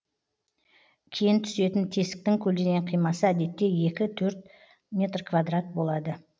кен түсетін тесіктің көлденең қимасы әдетте екі төрт метр квадрат болады